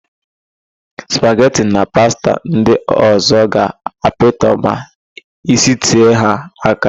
Spageti na pasta ndị ọ̀zọ́ ga-apịtọ ma isitee ha áká.